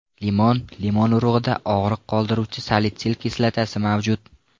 Limon Limon urug‘ida og‘riq qoldiruvchi salitsil kislotasi mavjud.